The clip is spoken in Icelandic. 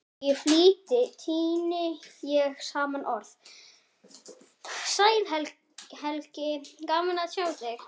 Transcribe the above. Í flýti tíni ég saman orð: Sæll Helgi, gaman að sjá þig